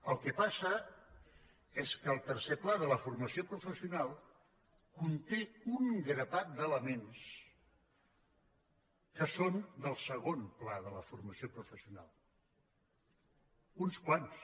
el que passa és que el tercer pla de la formació professional conté un grapat d’elements que són del segon pla de la formació professional uns quants